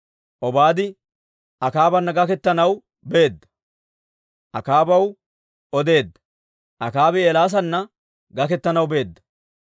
Obaadi Akaabana gaketanaw beedda; Akaabaw odeedda. Akaabi Eelaasanna gaketanaw beedda.